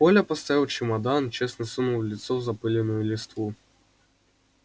коля поставил чемодан честно сунул лицо в запылённую листву